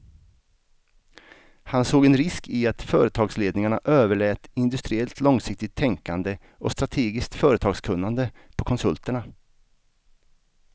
Han såg en risk i att företagsledningarna överlät industriellt långsiktigt tänkande och strategiskt företagskunnande på konsulterna.